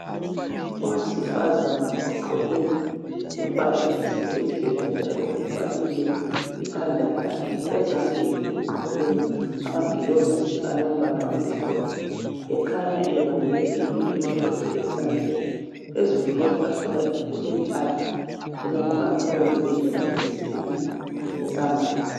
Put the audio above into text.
Owesifazana ugqoke impahla zesibhedlela njalo uvalile ikhanda lakhe ezandleni ugqoke amaglovisi alombala omhlophe ekhanya ebambe into emhlophe esandleni phezulu kwetafula kujug elombala oyiyellow kanye lesigubhu samanzi